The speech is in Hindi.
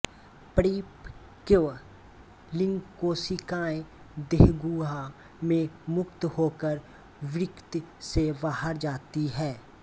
परिपक्व लिंगकोशिकाएँ देहगुहा में मुक्त होकर वृक्क से बाहर जाती हैं